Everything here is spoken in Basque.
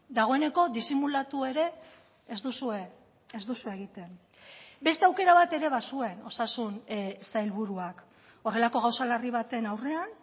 dagoeneko disimulatu ere ez duzue ez duzue egiten beste aukera bat ere bazuen osasun sailburuak horrelako gauza larri baten aurrean